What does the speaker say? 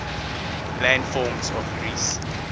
landforms of greece